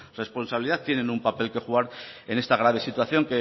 responsabilidad tienen un papel que jugar en esta grave situación